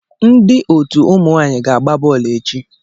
Ndị otu ụmụ nwaanyị ga-agba bọọlụ echi.